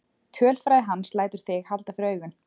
Tölfræði hans lætur þig halda fyrir augun.